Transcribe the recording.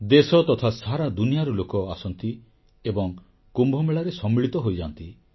ଦେଶ ତଥା ସାରା ଦୁନିଆର ଲୋକ ଆସନ୍ତି ଏବଂ କୁମ୍ଭମେଳାରେ ସମ୍ମିଳିତ ହୋଇଯାନ୍ତି